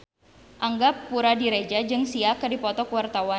Angga Puradiredja jeung Sia keur dipoto ku wartawan